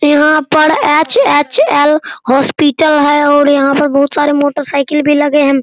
यहाँ पर HHL. Hospital है और यहाँ पर बहुत सारे मोटर साइकिल भी लगे है।